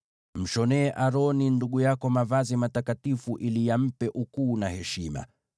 Mshonee Aroni ndugu yako mavazi matakatifu ili yampe ukuu na heshima.